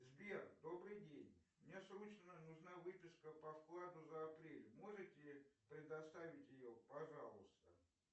сбер добрый день мне срочно нужна выписка по вкладу за апрель можете предоставить ее пожалуйста